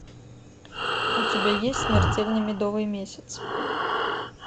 у тебя есть смертельный медовый месяц